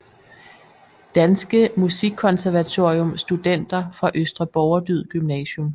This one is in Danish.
Danske Musikkonservatorium Studenter fra Østre Borgerdyd Gymnasium